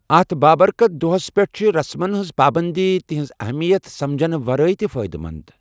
اتھ بابرکت دۄہس پٮ۪ٹھ چھِ رسمَن ہنٛز پابندی تِہنٛز اہمیت سمجھنہٕ ورٲے تہِ فٲئدٕ مند۔